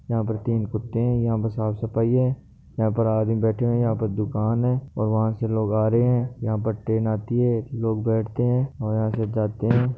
यहाँ पर तीन कुत्ते है यहाँ पर साफ़ सफाई है यहाँ पर आदमी बेठे हुए है यहाँ पर दुकान है और वहाँ से लोग आ रहे है यहाँ पर ट्रेन आती है लोग बैठते है और यहाँ से जाते है।